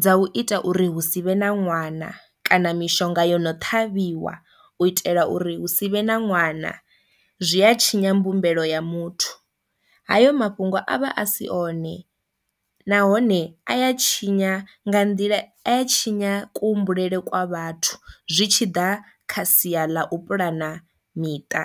dza u ita uri hu si vhe na ṅwana kana mishonga yo no ṱhavhiwa u itela uri hu si vhe na ṅwana zwi a tshinya mbumbelo ya muthu, hayo mafhungo a vha a si one nahone a ya tshinya nga nḓila a tshinya ku humbulele kwa vhathu zwi tshi ḓa kha sia ḽa u pulana miṱa.